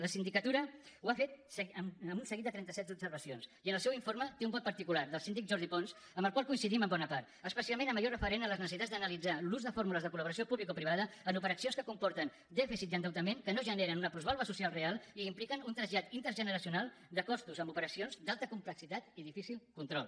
la sindicatura ho ha fet amb un seguit de trenta set observacions i en el seu informe té un vot particular del síndic jordi pons amb el qual coincidim en bona part especialment en allò referent a les necessitats d’analitzar l’ús de fórmules de colcomporten dèficit i endeutament que no generen una plusvàlua social real i que impliquen un trasllat intergeneracional de costos amb operacions d’alta complexitat i difícil control